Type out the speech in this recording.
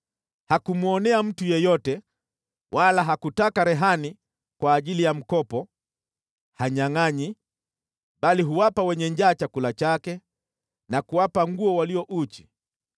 Hakumwonea mtu yeyote wala hakutaka rehani kwa ajili ya mkopo. Hanyangʼanyi, bali huwapa wenye njaa chakula chake na huwapa nguo walio uchi.